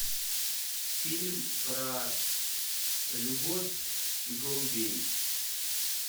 фильм про любовь и голубей